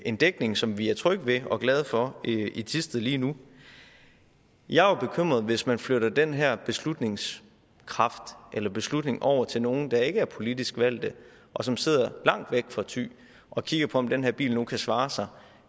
en dækning som vi er trygge ved og glade for i thisted lige nu jeg er jo bekymret for hvis man flytter den her beslutningskraft eller beslutning over til nogle der ikke er politisk valgte og som sidder langt væk fra thy og kigger på om den her bil nu kan svare sig